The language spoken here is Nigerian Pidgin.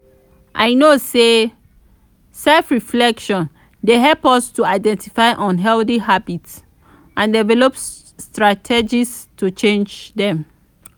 i know say self-reflection dey help us to identify unhealthy habits and develop strategies to change dem.